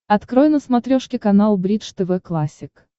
открой на смотрешке канал бридж тв классик